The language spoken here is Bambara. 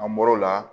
An bɔr'o la